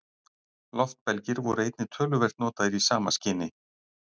Loftbelgir voru einnig töluvert notaðir í sama skyni.